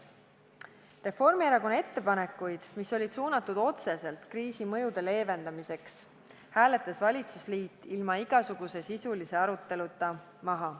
Reformierakonna ettepanekud, mis olid suunatud otseselt kriisi mõjude leevendamiseks, hääletas valitsusliit ilma igasuguse sisulise aruteluta maha.